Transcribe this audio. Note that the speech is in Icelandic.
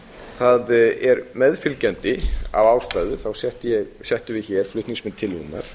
það er meðfylgjandi af ástæðu settum við hér flutningsmenn tillögunnar